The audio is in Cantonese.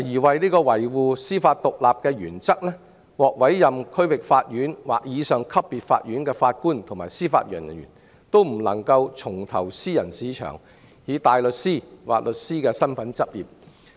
為維護司法獨立的原則，獲委任為區域法院或以上級別法院的法官及司法人員，均不能重投私人市場以大律師或律師身份執業。